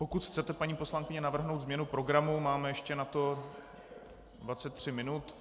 Pokud chcete, paní poslankyně, navrhnout změnu programu, máte ještě na to 23 minut.